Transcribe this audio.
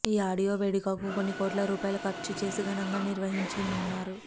ఈ ఆడియో వేడకకు కొన్ని కోట్ల రూపాయలు ఖర్చు చేసి ఘనంగా నిర్వహించనున్నారు